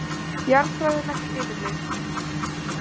Jarðfræðilegt yfirlit.